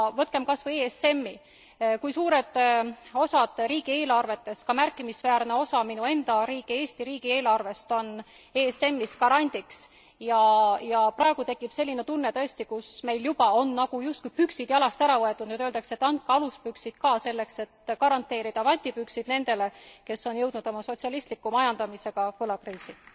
Võtkem kasvõi ESMi, kus suured osad riigi eelarvetest, ka märkimisväärne osa minu enda riigi Eesti riigi eelarvest, on ESMis garandiks ja praegu tekib tõesti selline tunne, kus meil juba on justkui püksid jalast ära võetud ja nüüd öeldakse, et andke aluspüksid ka selleks, et garanteerida vatipüksid nendele, kes on jõudnud oma sotsialistliku majandamisega võlakriisi.